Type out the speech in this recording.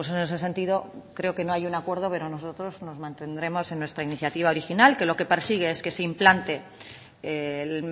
en ese sentido creo que no hay un acuerdo pero nosotros nos mantendremos en nuestra iniciativa original que lo que persigue es que se implante el